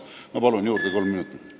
Ma palun juurde kolm minutit!